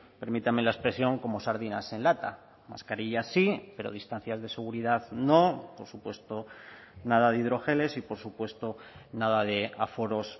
permítame la expresión como sardinas en lata mascarilla sí pero distancias de seguridad no por supuesto nada de hidrogeles y por supuesto nada de aforos